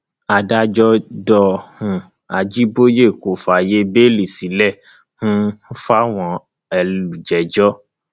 adájọ do um àjibọyé kó fààyè bẹẹlí sílẹ um fáwọn elùjẹjọ